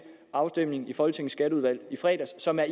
afstemning i folketinget skatteudvalg i fredags som er